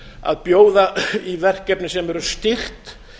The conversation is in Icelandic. að bjóða í verkefna sem eru styrkt